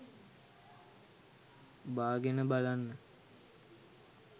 බාගෙන බලන්න